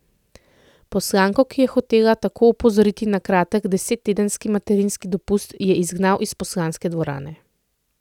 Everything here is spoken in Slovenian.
Poslanko, ki je hotela tako opozoriti na kratek desettedenski materinski dopust, je izgnal iz poslanske dvorane.